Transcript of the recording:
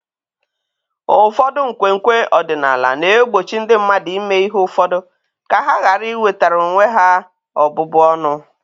Ụfọdụ nkwenkwe ọdịnala na-egbochi ndị mmadụ ime ihe ụfọdụ ka ha ghara iwetara onwe ha ọbụbụ ọnụ.